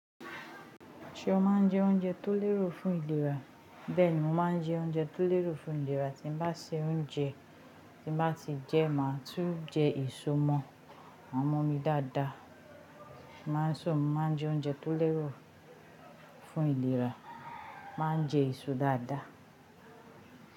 Ṣé o máa ń jẹ oúnjẹ tó lérò fún ìlera? Bẹ́ẹ̀ni, mo máa ń jẹ oúnjẹ tó lérò fún ìlera. Tí bá ṣe oúnjẹ tí bá ti jẹ, màá tún jẹ èso mọ. Maa mu ọmi dáadáa. Máa sọ̀ún, máa jẹ oúnjẹ tó lérò fún ìlera. Ma jẹ èso dáadáa.